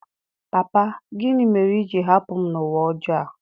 Papa! Gịnị mere i ji hapụ m n’ụwa ọjọọ a?